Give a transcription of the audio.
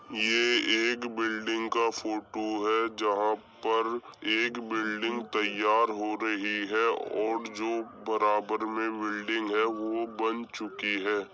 ये एक बिल्डिंग का फोटो है जहां पर एक बिल्डिंग तैयार हो रही है और जो बराबर में बिल्डिंग है वो बन चुकी है।